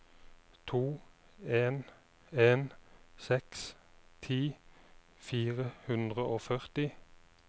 to en en seks ti fire hundre og førti